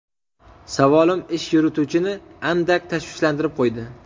Savolim ish yurituvchini andak tashvishlantirib qo‘ydi.